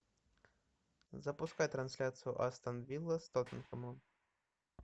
запускай трансляцию астон вилла с тоттенхэмом